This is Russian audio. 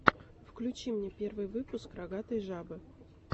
включи мне первый выпуск рогатой жабы